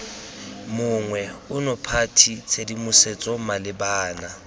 monngwe ono party tshedimosetso malebana